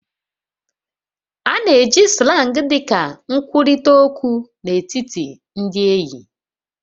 A na-eji Slang dị ka nkwurịta okwu n'etiti ndị enyi